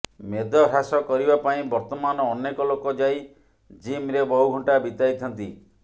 ମେଦ ହ୍ରାସ କରିବା ପାଇଁ ବର୍ତ୍ତମାନ ଅନେକ ଲୋକ ଯାଇ ଜିମ୍ରେ ବହୁ ଘଣ୍ଟା ବିତାଇଥାନ୍ତି